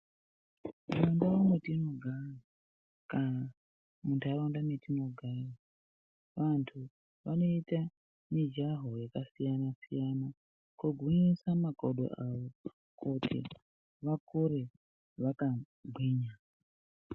Mundau mwetinogara kana muntaraunda mwetinogara ,vantu vanoita mijaho yakasiyana siyana kugwinyisa makodo awo kuti vakure vakagwinya.